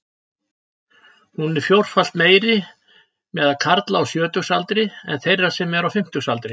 Hún er fjórfalt meiri meðal karla á sjötugsaldri en þeirra sem eru á fimmtugsaldri.